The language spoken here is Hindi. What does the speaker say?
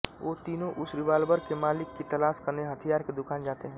वो तीनों उस रिवॉल्वर के मालिक की तलाश करने हथियार के दुकान जाते हैं